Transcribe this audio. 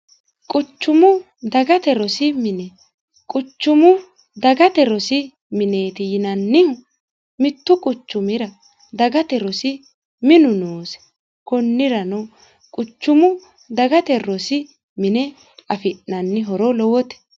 quchumu dagate rosi mine quchumu dagate rosi mineeti yinannihu mittu quchumira dagate rosi minu noosi kunnirano quchumu dagate rosi mine afi'nanni horo lowote.